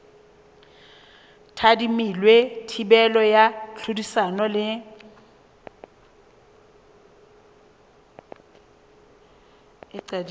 tadimilwe thibelo ya tlhodisano le